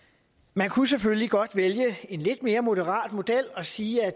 man kunne selvfølgelig godt vælge en lidt mere moderat model og sige at